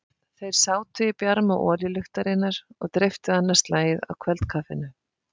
Þeir sátu í bjarma olíuluktarinnar og dreyptu annað slagið á kvöldkaffinu.